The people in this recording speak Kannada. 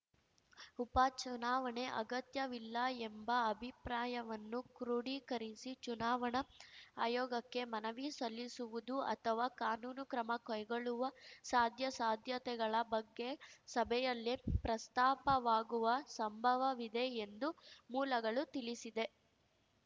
ಉಪಚುನಾವಣೆ ಅಗತ್ಯವಿಲ್ಲ ಎಂಬ ಅಭಿಪ್ರಾಯವನ್ನು ಕ್ರೋಢೀಕರಿಸಿ ಚುನಾವಣಾ ಆಯೋಗಕ್ಕೆ ಮನವಿ ಸಲ್ಲಿಸುವುದು ಅಥವಾ ಕಾನೂನು ಕ್ರಮ ಕೈಗೊಳ್ಳುವ ಸಾಧ್ಯಾಸಾಧ್ಯತೆಗಳ ಬಗ್ಗೆ ಸಭೆಯಲ್ಲಿ ಪ್ರಸ್ತಾಪವಾಗುವ ಸಂಭವವಿದೆ ಎಂದು ಮೂಲಗಳು ತಿಳಿಸಿದೆ